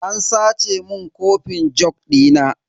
An sace mun kofin jug dina.